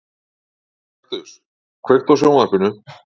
Kaktus, kveiktu á sjónvarpinu.